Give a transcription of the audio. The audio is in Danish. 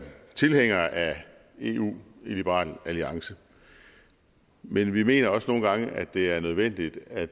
tilhængere af eu i liberal alliance men vi mener også nogle gange at det er nødvendigt at